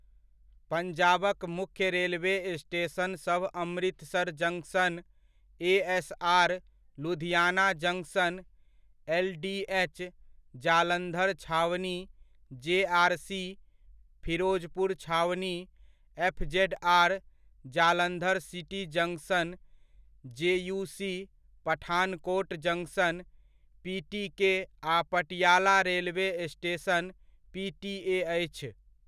पंजाबक मुख्य railway station सब Amritsar junction, ASR, Ludhiana junction, LDH, Jalandhar छावनी, जेआरसी, फिरोजपुर छावनी, FZR, Jalandhar city junction, JUC, Pathankot junction, PTK आ पटियाला रेलवे स्टेशन, पीटीए अछि।